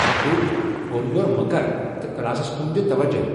دھرٚوٗ، اورٕ یور مہٕ كر تہٕ كلاسس كُن دِ توجہ ۔